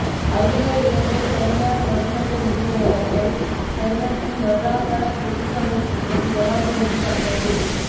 அகில இலங்கை தனியார் மருந்தக உரிமையாளர்கள் சங்கத்தின் வருடாந்த பொதுச் சபைக் கூட்டம் ஜனாதிபதி தலைமையில்